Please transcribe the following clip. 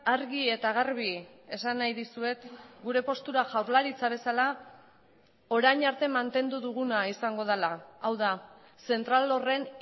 argi eta garbi esan nahi dizuet gure postura jaurlaritza bezala orain arte mantendu duguna izango dela hau da zentral horren